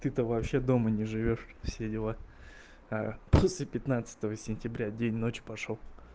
ты то вообще дома не живёшь все дела а после пятнадцатого сентября день ночь пошёл